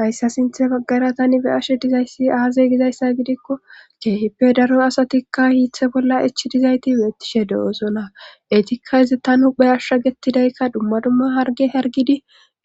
hayssa sinthe baggara tani be ashe dizayssi aaze gizayssa gidikko keehippe daro asatikka hiithe bolla ichi dizayti beettishe do7oosona etikka izi tanhuphe ashsha gettidaykka dumma dumma harge hargidi